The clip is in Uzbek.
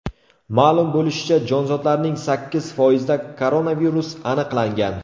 Ma’lum bo‘lishicha, jonzotlarning sakkiz foizida koronavirus aniqlangan.